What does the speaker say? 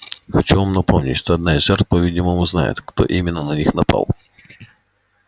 хочу вам напомнить что одна из жертв по-видимому знает кто именно на них напал